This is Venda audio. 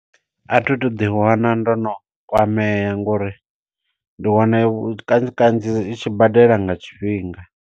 A thi tu ḓi wana ndo no kwamea, ngo uri ndi wana kanzhi kanzhi itshi badela nga tshifhinga.